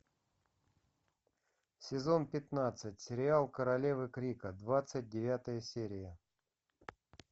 сезон пятнадцать сериал королевы крика двадцать девятая серия